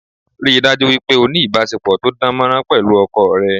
Ríi dájú wípé o ni ìbásepọ̀ to dán mọ́rán pẹ̀lú ọkọ rẹ